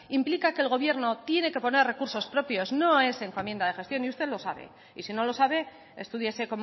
implica que el gobierno tiene que poner recursos propios no es encomienda de gestión y usted lo sabe y si no lo sabe estúdiese